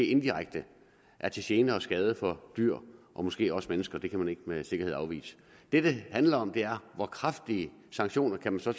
inddirekte er til gene og skade for dyr og måske også mennesker det kan man ikke med sikkerhed afvise det det handler om er hvor kraftige sanktioner man så